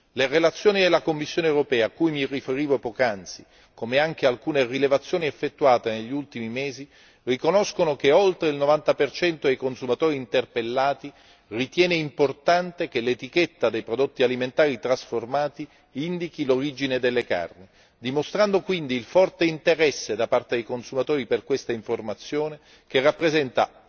Le relazioni della Commissione europea a cui mi riferivo poc'anzi, come anche alcune rilevazioni effettuate negli ultimi mesi, riconoscono che oltre il 90 dei consumatori interpellati ritiene importante che l'etichetta dei prodotti alimentari trasformati indichi l'origine delle carni, dimostrando quindi il forte interesse da parte dei consumatori per questa informazione, che rappresenta